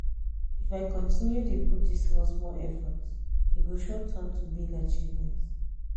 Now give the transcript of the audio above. if i continue dey put this small small effort e go sure turn to big achievement.